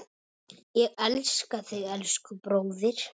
Ég elska þig, elsku bróðir.